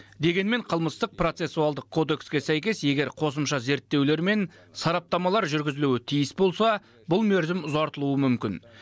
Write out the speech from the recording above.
дегенмен қылмыстық процессуалдық кодекске сәйкес егер қосымша зерттеулер мен сараптамалар жүргізілуі тиіс болса бұл мерзім ұзартылуы мүмкін